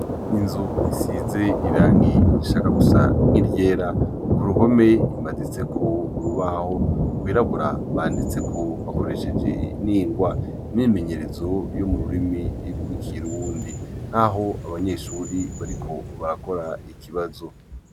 Inzu isize irangi irishaka gusa nk'iryera ku ruhome imazitseko urubaho rwirabura banditseko bakoresheje n'ingwa imimenyerezo yo mu rurimi irwo ikirundi nk'aho abanyeshuri bariko barakora ikibazo.